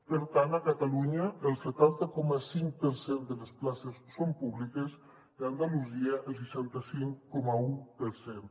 per tant a catalunya el setanta coma cinc per cent de les places són públiques i a andalusia el seixanta cinc coma un per cent